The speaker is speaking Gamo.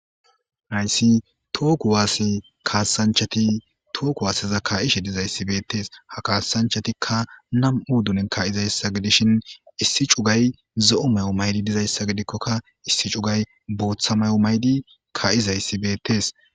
Hayssi too kuwaasse kaassanchati tooku waaseza ka7ishe dizayssi beettees ha kaasanchatikka nam7u dunen ka7izayssa gidishin issi cugay zo7o may7o maydi dizayssa gidikkokka issi cugay booththa may7o maydi ka7izayssi beettees